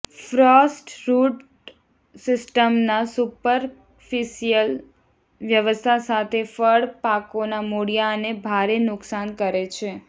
Frost root સિસ્ટમના superficial વ્યવસ્થા સાથે ફળ પાકોના મૂળિયાને ભારે નુકસાન કરે છે